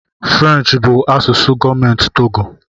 Firenchi bụ asụsụ gọọmentị Togo